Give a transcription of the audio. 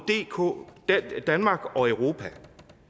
danmark og europa